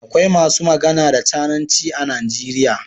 Akwai masu magana da cananci a Najeriya.